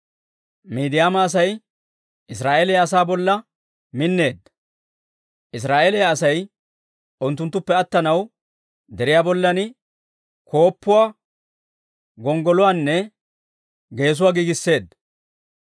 Midiyaama Asay Israa'eeliyaa asaa bolla minneedda; Israa'eeliyaa Asay unttunttuppe attanaw deriyaa bollan k'osettiyaasaa, gonggoluwaanne geessuwaa giigisseedda.